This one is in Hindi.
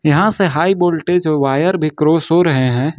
यहां से हाई वोल्टेज वायर भी क्रॉस हो रहे हैं।